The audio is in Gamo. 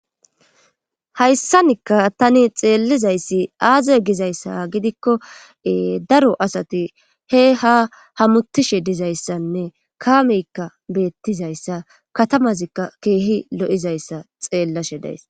hayssanikka tani xeellizayssi aaze gizayssa gidikkoe daro asati he ha hamutishe dizayssanne kaameykka beettizayssa katamazikka keehi lo'izayssa xeellashe dayss